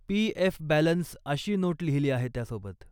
PF. Balance अशी note लिहिली आहे त्यासोबत.